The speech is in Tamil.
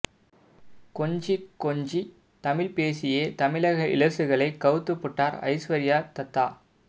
கொஞ்சிக் கொஞ்சி தமிழ் பேசியே தமிழக இளசுகளை கவுத்திப்புட்டார் ஐஸ்வர்யா தத்தா